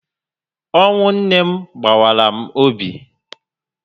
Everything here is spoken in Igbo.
Ọnwụ nne m gbawara m obi